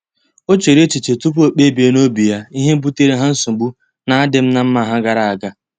O chere echiche tupu o kpebie n'obi ya ihe butere ha nsogbu n'adim na mma ha gara aga.